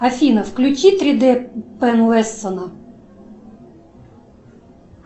афина включи три д пен лессона